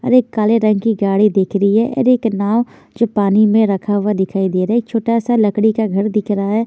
एक काले रंग की गाड़ी दिख रही है एक नाव जो पानी में रखा हुआ दिख रहा है छोटा सा घर भी दिख रहा है।